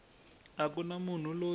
a ku na munhu loyi